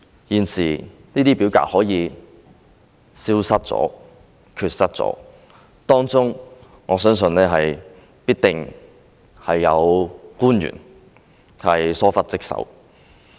現時這些表格可以消失，我相信當中必定有官員疏忽職守。